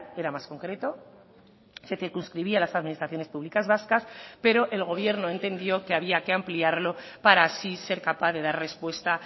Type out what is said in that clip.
era más concreto se circunscribía a las administraciones públicas vascas pero el gobierno entendió que había que ampliarlo para así ser capaz de dar respuesta